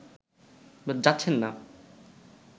যাচ্ছেন না